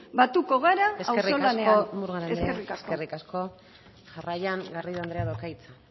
batuko gara auzolanean eskerrik asko eskerrik asko murga andrea jarraian garrido andreak dauka hitza